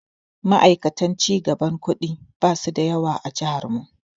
Ma'aikatan cigaban kuɗi basu da yawa a jihar mu.